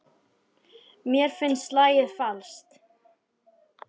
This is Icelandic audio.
Mér finnst lagið falskt.